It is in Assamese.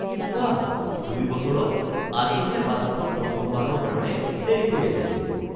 বাহ, ২ বছৰত আজিহে বাছখন প্ৰথমবাৰৰ কাৰণে দেৰীকৈ আহিছে।